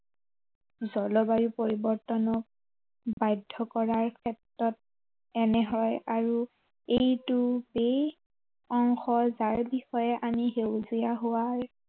জলবায়ু পৰিৱৰ্তনত, বাধ্য় কৰাৰ ক্ষেত্ৰত এনে হয় আৰু এইটো এই অংশৰ যাৰ বিষয়ে আমি সেউজীয়া হোৱাৰ